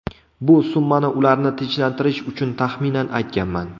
Bu summani ularni tinchlantirish uchun taxminan aytganman.